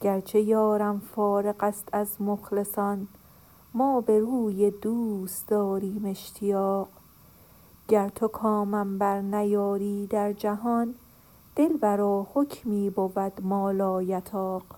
گرچه یارم فارغست از مخلصان ما به روی دوست داریم اشتیاق گر تو کامم برنیاری در جهان دلبرا حکمی بود ما لایطاق